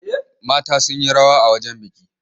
Mata sun yi rawa a wajen biki.